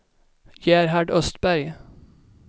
Gerhard Östberg